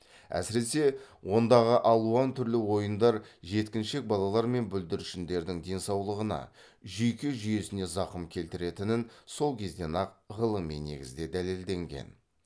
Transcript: әсіресе ондағы алуан түрлі ойындар жеткіншек балалар мен бүлдіршіндердің денсаулығына жүйке жүйесіне зақым келтіретінін сол кезден ақ ғылыми негізде дәлелденген